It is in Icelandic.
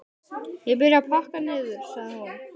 Ég byrja að pakka niður, sagði hún.